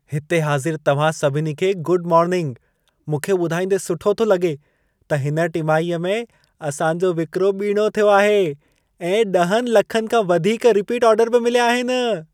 हिते हाज़िर तव्हां सभिनी खे गुड मोर्निंग। मूंखे ॿुधाईंदे सुठो थो लॻे, त हिन टिमाहीअ में असां जो विक्रो ॿीणों थियो आहे ऐं 10 लखनि खां वधीक रिपीट आर्डर बि मिलिया आहिन।